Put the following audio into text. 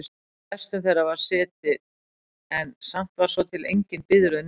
flestum þeirra var setið en samt var svo til engin biðröð niðri.